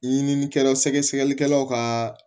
Ɲininikɛlaw sɛgɛsɛgɛlikɛlaw ka